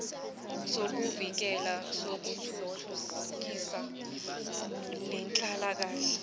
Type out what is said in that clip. sokuvikela sokuthuthukisa nenhlalanhle